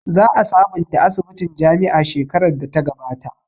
Za a sabonta asibitin jami'a shekarar da ta gabata